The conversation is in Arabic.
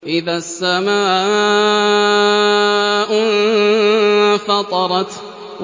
إِذَا السَّمَاءُ انفَطَرَتْ